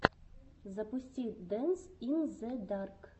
запусти дэнс ин зе дарк